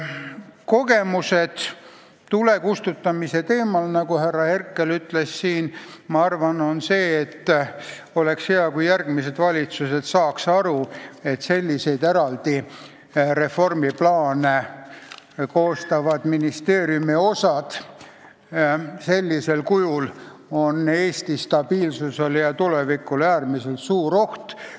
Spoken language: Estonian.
Kogemused tulekustutamise teemal, nagu härra Herkel ütles, on minu arvates sellised, et oleks hea, kui järgmised valitsused saaksid aru, et sellisel kujul eraldi reformiplaane koostavad ministeeriumi osad on Eesti stabiilsusele ja tulevikule äärmiselt suur oht.